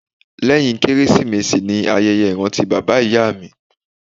Lẹ́yìn Kérésìmesì ni ayẹyẹ ìrántí bàbá ìyá mi